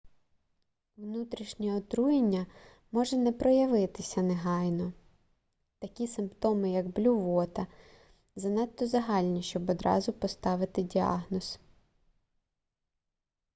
внутрішнє отруєння може не проявитися негайно такі симптоми як блювота занадто загальні щоб одразу поставити діагноз